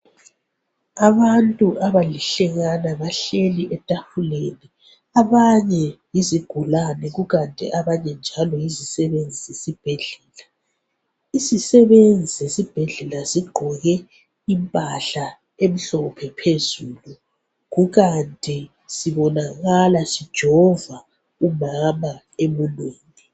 Abantu abalihlekana bahleli etafuleni abanye yizigulane kukanti abanye njalo yi zisebenzi zesibhedlela. Izisebenzi zesibhedlela zigqoke impahla emhlophe phezulu kukanti zibonakala zijova umama emunweni.